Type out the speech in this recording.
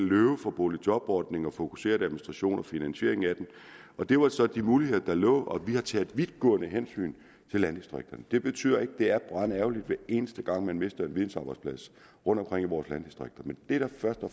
at løbe fra boligjobordningen og fokuseret administration og finansieringen af den det var så de muligheder der lå og vi har taget vidtgående hensyn til landdistrikterne det betyder ikke at det ikke er brandærgerligt hver eneste gang man mister en videnarbejdsplads rundtomkring i vores landdistrikter men det der først og